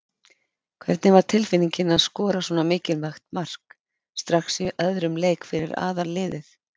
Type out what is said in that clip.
Hvernig var tilfinningin að skora svona mikilvægt mark strax í öðrum leik fyrir aðalliðið?